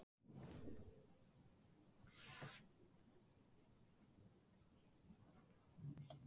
En hvað er það við Hallgrím sem heillar tónlistarmenn og tónskáld enn í dag?